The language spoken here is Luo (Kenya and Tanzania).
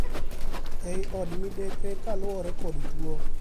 ei od midekre kaluwore kod tuo